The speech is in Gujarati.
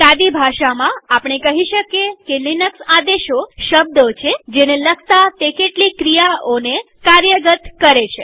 સાદી ભાષામાં આપણે કહી શકીએ કે લિનક્સ આદેશો શબ્દો છેજેને લખતા તે કેટલીક ક્રિયાઓને કાર્યગત કરે છે